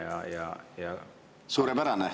Suurepärane!